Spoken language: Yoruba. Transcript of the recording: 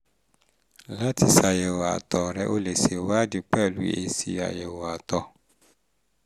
lati sayewo ato re o le se iwadi pelu esi ayo ato